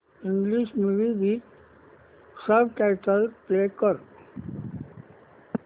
English movie with subtitles play कर